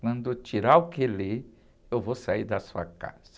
Quando eu tirar o quelé, eu vou sair da sua casa.